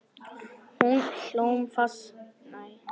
Hólmfastur, slökktu á niðurteljaranum.